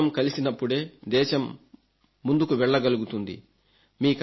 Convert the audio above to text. భుజం భుజం కలిసినప్పుడే దేశం ముందుకు వెళ్లగలుగుతుంది